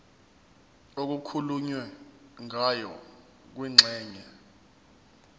okukhulunywe ngayo kwingxenye